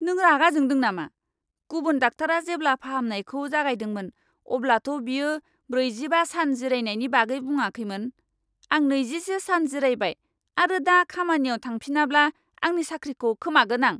नों रागा जोंदों नामा? गुबुन डाक्टारा जेब्ला फाहामनायखौ जागायदोंमोन अब्लाथ' बियो ब्रैजिबा सान जिरायनायनि बागै बुङाखैमोन! आं नैजिसे सान जिरायबाय आरो दा खामानियाव थांफिनाब्ला आंनि साख्रिखौ खोमागोन आं!